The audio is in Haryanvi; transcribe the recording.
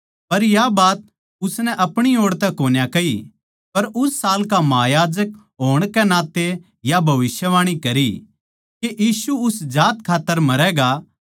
पर या बात उसनै अपणी ओड़ तै कोन्या कही पर उस साल का महायाजक होण तै भविष्यवाणी करी के यीशु उस जात खात्तर मरैगा